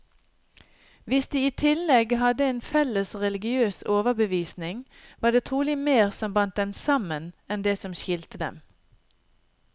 Hvis de i tillegg hadde en felles religiøs overbevisning, var det trolig mer som bandt dem sammen, enn det som skilte dem.